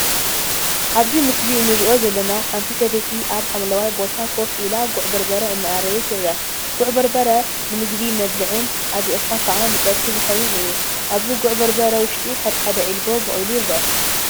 አብዚ ምስሊ እንሪኦ ዘለና ሓንቲ ሰበይቲ አብ ሓምለዋይ ቦታ ኮፍ ኢላ ጉዕ በርበረ እናአረየት ይርአ፡፡ ጉዕ በርበረ ንምግቢ መብልዒን አድሪቅካ ከዓ ንፀብሒ ዝኸውን እዩ፡፡ አብዚ ጉዕ በርበረ ውሽጢ ሓደ ሓደ ዒልቦ በቂሉ ይርአ፡፡